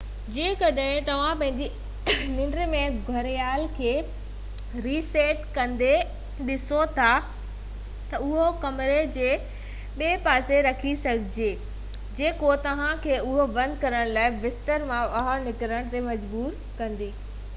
جيڪڏهن توهان پنهنجي ننڊ ۾ گهڙيال کي ري سيٽ ڪندي ڏسو ٿا ته اهو ڪمري جي ٻئي پاسي رکي سگهجي ٿي جيڪو توهان کي اهو بند ڪرڻ لاءِ بستر مان ٻاهر نڪرڻ تي مجبور ڪندي